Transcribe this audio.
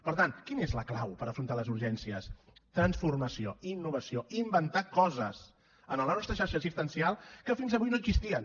per tant quina és la clau per afrontar les urgències transformació innovació inventar coses en la nostra xarxa assistencial que fins avui no existien